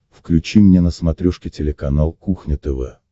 включи мне на смотрешке телеканал кухня тв